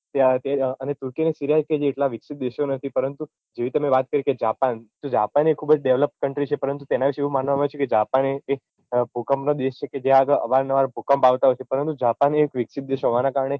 તે અને એટલાં વિકસિત દેશો નથી પરંતુ જેવી તમેં વાત કરી કે જાપાન જાપાન એ ખુબ જ devlopcountry છે પરંતુ તેના વિશે એવું માનવામાં આવ્યું છે કે જાપાન એ એક ભૂકંપ નો દેશ છે કે જ્યાં આગળ અવાર નવાર ભૂકંપ આવતાં હોય છે પરતું જાપાન એક વિકસિત દેશ હોવાનાં કારણે